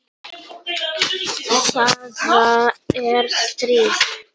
Það er stríð!